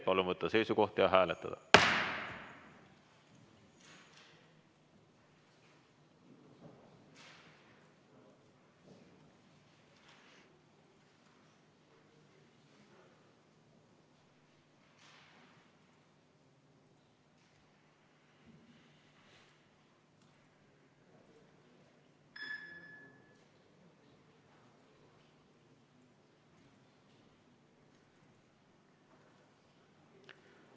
Palun võtta seisukoht ja hääletada!